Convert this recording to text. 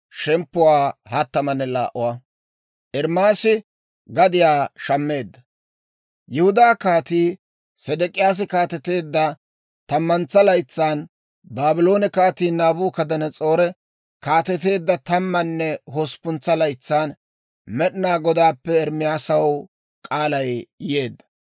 Yihudaa Kaatii Sedek'iyaasi kaateteedda tammantsa laytsan, Baabloone Kaatii Naabukadanas'oori kaateteedda tammanne hosppuntsa laytsan Med'inaa Godaappe Ermaasaw kaalay yeedda.